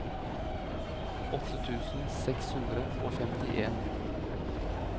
åtte tusen seks hundre og femtien